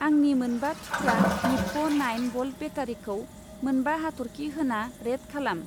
आंनि मोनबा थुख्रा निप्प' नाइन भल्ट बेटारिखौ मोनबा हाथरखि होना रेट खालाम।